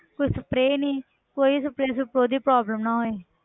ਕੋਈ spray ਨੀ, ਕੋਈ spray ਸਪਰੂਅ ਦੀ problem ਨਾ ਹੋਏ।